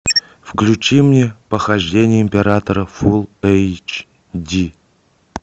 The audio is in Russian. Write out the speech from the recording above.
включи мне похождения императора фулл эйч ди